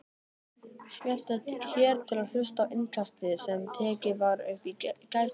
Smelltu hér til að hlusta á Innkastið sem tekið var upp í gærkvöldi